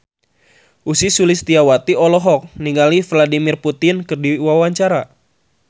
Ussy Sulistyawati olohok ningali Vladimir Putin keur diwawancara